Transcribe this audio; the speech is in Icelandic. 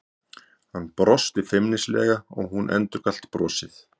Hann brosti feimnislega og hún endurgalt brosið.